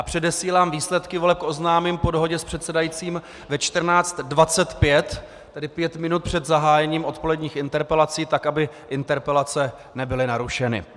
A předesílám, výsledky voleb oznámím po dohodě s předsedajícím ve 14.25, tedy pět minut před zahájením odpoledních interpelací, tak aby interpelace nebyly narušeny.